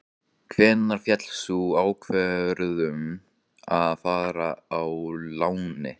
Hvenær féll sú ákvörðun að fara á láni?